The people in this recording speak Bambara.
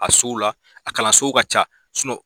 A sow la a kalansow ka ca